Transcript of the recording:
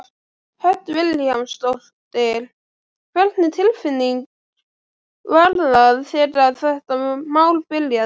Hödd Vilhjálmsdóttir: Hvernig tilfinning var það þegar þetta mál byrjaði?